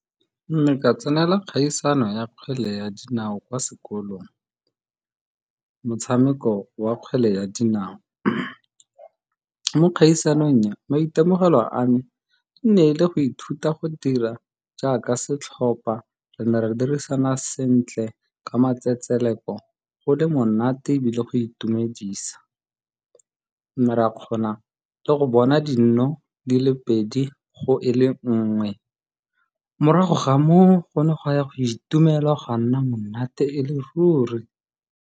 Mme ka tsenela kgaisano ya kgwele ya dinao kwa sekolong, motshameko wa kgwele ya dinao. Mo kgaisanong e, maitemogelo a me e ne le go ithuta go dira jaaka setlhopa. Re ne re dirisana sentle ka matsetseleko, go le monate ebile go itumedisa. Re ne ra kgona le go bona dino di le pedi go e le nngwe morago ga moo go ne gwa ya go itumelwa gwa nna monate e le ruri.